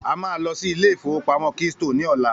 A máa lọ sí Ilé-ìfowópamó keystone ní ọ̀la